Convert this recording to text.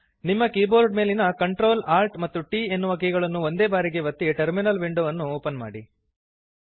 ನಿಮ್ಮ ಕೀಬೋರ್ಡ್ ಮೇಲಿನ Ctrl Alt and T ಎನ್ನುವ ಕೀಗಳನ್ನು ಒಂದೇ ಬಾರಿಗೆ ಒತ್ತಿ ಟರ್ಮಿನಲ್ ವಿಂಡೋವನ್ನು ಓಪನ್ ಮಾಡಿರಿ